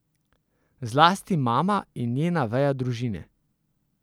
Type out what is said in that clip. Zlasti mama in njena veja družine.